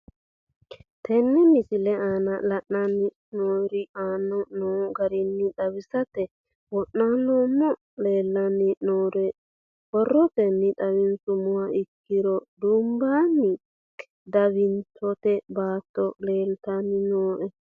Tene misile aana leelanni nooerre aane noo garinni xawisate wonaaleemmo. Leelanni nooerre borrotenni xawisummoha ikkiro dubbunni diwaantinoti baato leeltanni nooe.